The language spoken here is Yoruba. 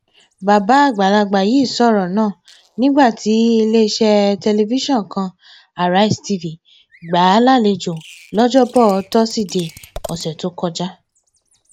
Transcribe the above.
bàbá àgbàlagbà yìí sọrọ náà nígbà tí iléeṣẹ tẹlifíṣọn kanarise tv gbà á lálejò lọjọbọ tosidee ọsẹ tó kọjá